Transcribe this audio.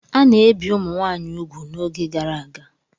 A na-ebi ụmụ nwaanyị ugwu n'oge gara aga.